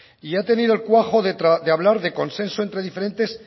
y ha tenido el cuajo de hablar de consenso entre diferentes